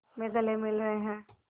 में गले मिल रहे हैं